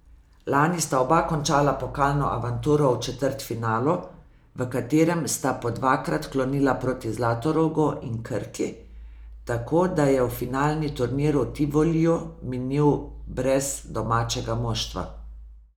Lani sta oba končala pokalno avanturo v četrtfinalu, v katerem sta po dvakrat klonila proti Zlatorogu in Krki, tako da je finalni turnir v Tivoliju minil brez domačega moštva.